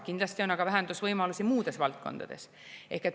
Kindlasti on aga vähendusvõimalusi muudes valdkondades.